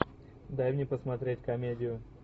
дай мне посмотреть комедию